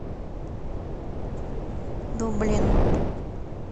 дублин